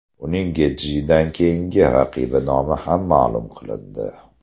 Uning Getjidan keyingi raqibi nomi ham ma’lum qilindi.